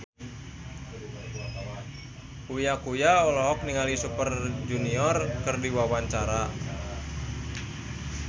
Uya Kuya olohok ningali Super Junior keur diwawancara